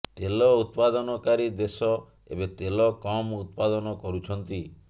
ତେଲ ଉତ୍ପାଦନକାରୀ ଦେଶ ଏବେ ତେଲ କମ୍ ଉତ୍ପାଦନ କରୁଛନ୍ତି